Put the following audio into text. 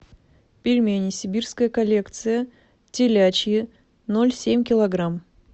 пельмени сибирская коллекция телячьи ноль семь килограмм